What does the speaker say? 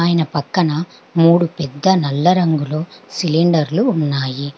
ఆయన పక్కన మూడు పెద్ద నల్ల రంగులో సిలిండర్లు ఉన్నాయి.